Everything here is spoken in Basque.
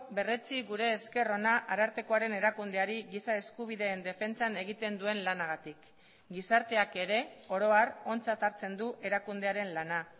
berretsi gure esker ona arartekoaren erakundeari giza eskubideen defentsan egiten duen lanagatik gizarteak ere oro har ontzat hartzen du erakundearen lana